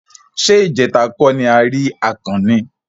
Ṣé ìjẹta kó ni a rí akàn ni?